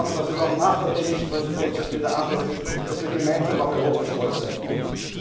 anders. Ich möchte, dass es auch nach der dänischen Präsidentschaft wieder anders ist, dass wir gemeinsam auf Europa stolz sein